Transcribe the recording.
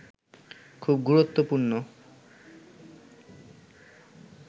খুব গুরুত্বপূর্ণ